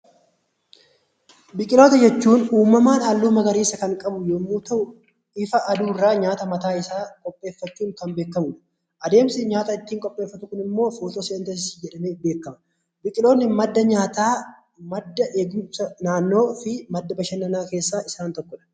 Biqiltoota jechuun uumamaan haalluu magariisa kan qabu yoo ta'u, ifa aduu irraa nyaata mataa isaa qopheeffachuun kan beekamu dha. Adeemsi ittiin nyaata qopheeffatu kun immoo footoosenteesisii jedhamee beekama. Biqiloonni madda nyaataa, madda eegumsa naannoo fi madda bashannanaa keessaa isaan tokko dha.